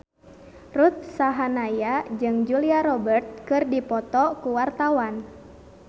Ruth Sahanaya jeung Julia Robert keur dipoto ku wartawan